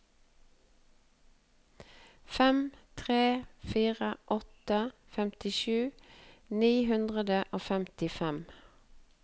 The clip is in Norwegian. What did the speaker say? fem tre fire åtte femtisju ni hundre og femtifem